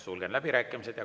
Sulgen läbirääkimised.